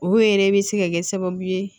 O yɛrɛ bɛ se ka kɛ sababu ye